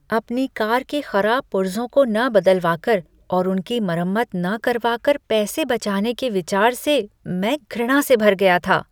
अपनी कार के खराब पुर्जों को न बदलवा कर और उनकी मरम्मत न करवा कर पैसे बचाने के विचार से मैं घृणा से भर गया था।